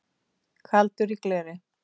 Kaldur í gleri